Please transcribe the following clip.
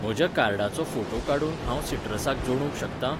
म्हज्या कार्डाचो फोटो काडून हांव सिट्रसाक जो्डूंक शकतां?